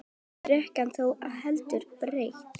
Brekkan er þó heldur brött.